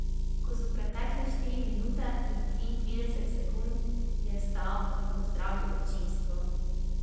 Ko so pretekle štiri minute in triintrideset sekund, je vstal in pozdravil občinstvo.